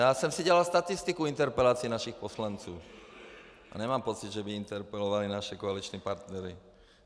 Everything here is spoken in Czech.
Já jsem si dělal statistiku interpelací našich poslanců a nemám pocit, že by interpelovali naše koaliční partnery.